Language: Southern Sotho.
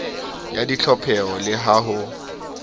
ya ditlhopheho le ha ho